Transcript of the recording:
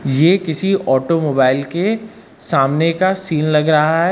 ये किसी ऑटोमोबाइल के सामने का सीन लग रहा है।